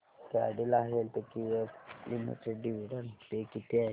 Cadila healthcare limited dividend pay किती आहे